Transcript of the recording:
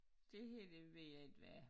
Det her det ved jeg ikke hvad er